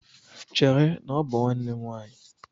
Chere, na ọ bụ nwanne nwaanyị!